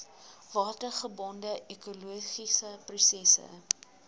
watergebonde ekologiese prosesse